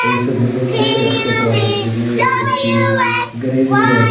এই ছবির মইধ্যে দেখতে পাওয়া যাচ্ছে যে একটি গ্যারেজ রয়ে--